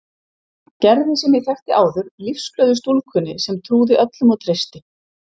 Gerði sem ég þekkti áður, lífsglöðu stúlkunni sem trúði öllum og treysti.